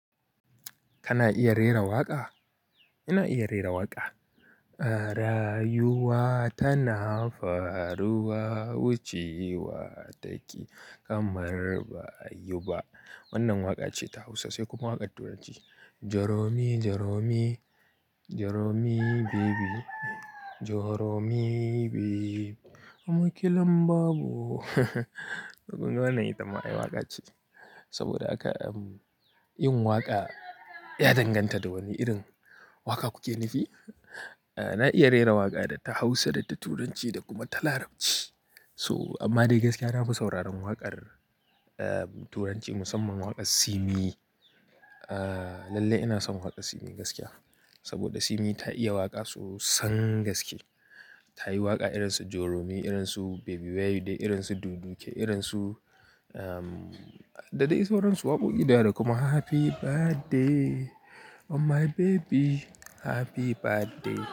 Kana iya rera waƙa? Ina iya rera waƙa. Rayuwa tana faruwa wucewa take kamar ba ayiba. Wannan waƙa ce ta Hausa sai kuma waƙar Turanci. Joromi, joromi, joromi baby, joromi babe, amakilan babu. To kunga wannan ita ma ai waƙa ce. Saboda haka, um, yin waƙa ya danganta da wane irin waƙa kuke nufi. Eh, na iya rera waƙa da ta Hausa, da ta Turanci da kuma ta Larabci. So, amma dai gaskiya na fi sauraron waƙar, eh, Turanci musamman waƙar Simi. Eh, lalle ina son waƙar Simi gaskiya. Saboda Simi ta iya waƙa sosan gaske. Ta yi waƙa irin su Joromi, irin su Baby Where u dey irin su Du du ke, irin su, um, da dai sauransu waƙoƙi da yawa da kuma Happy birthday on my baby, happy birthday.